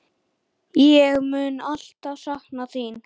Ég mun alltaf sakna þín.